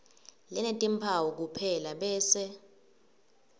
lenetimphawu kuphela bese